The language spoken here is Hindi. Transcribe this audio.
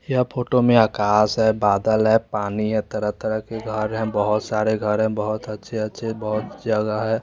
यहां फोटो में आकाश है बादल है पानी है तरह तरह के घर है बोहोत सारे घर है बोहोत अच्छी बोहोत जगह है।